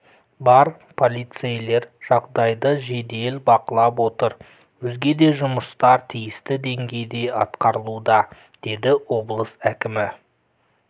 бар полицейлер жағдайды жедел бақылап отыр өзге де жұмыстар тиісті деңгейде атқарылуда деді облыс кімі